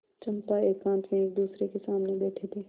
चंपा एकांत में एकदूसरे के सामने बैठे थे